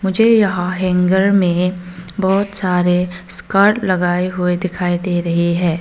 मुझे यहां हैंगर में बहुत सारे स्कर्ट लगाए हुए दिखाई दे रही हैं।